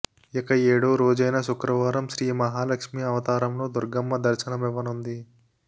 ఇక ఏడో రోజైన శుక్రవారం శ్రీ మహాలక్ష్మి అవతారంలో దుర్గమ్మ దర్శనమివ్వనుంది